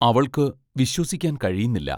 അവൾക്കു വിശ്വസിക്കാൻ കഴിയുന്നില്ല.